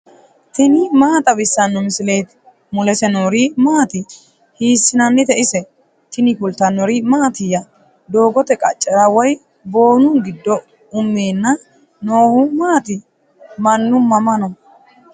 tini maa xawissanno misileeti ? mulese noori maati ? hiissinannite ise ? tini kultannori mattiya? doogotte qaccera woy boonnu giddo umeenna noohu maatti? Mannu mama noo?